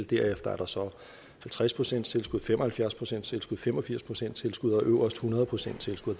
derefter er der så halvtreds procent tilskud fem og halvfjerds procent tilskud fem og firs procent tilskud og øverst hundrede procent tilskud